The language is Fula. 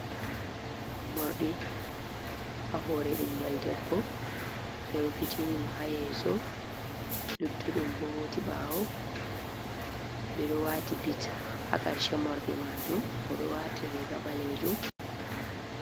Mordi a hore ɓingel debbo ɓe rufitini mo ha yeso luttuɗum bo hoti ɓawo, ɓeɗo wati bi ha karshe morɗi majum oɗo wati riga ɓalejum.